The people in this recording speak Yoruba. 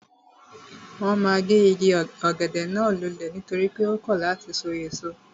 Wọ́n ma gé igi ọ̀gẹ̀dẹ̀ náà lulẹ̀ nítorí pé ó kọ̀ láti sọ èso